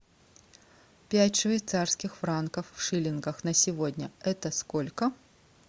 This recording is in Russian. пять швейцарских франков в шиллингах на сегодня это сколько